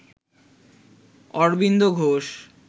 Aurobindo Ghosh